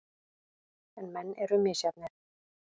En menn eru misjafnir.